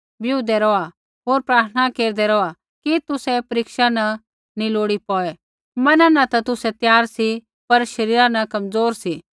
बिऊदै रौहा होर प्रार्थना केरदै रौहा कि तुसै परीक्षा न नी लोड़ी पौड़ै मना न ता तुसै त्यार सी पर शरीरा न कमज़ोर सी